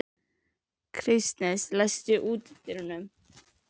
Kristens, læstu útidyrunum.